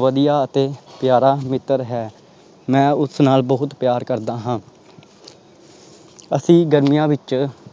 ਵਧੀਆ ਅਤੇ ਪਿਆਰਾ ਮਿੱਤਰ ਹੈ, ਮੈਂ ਉਸ ਨਾਲ ਬਹੁਤ ਪਿਆਰ ਕਰਦਾ ਹਾਂ ਅਸੀਂ ਗਰਮੀਆਂ ਵਿਚ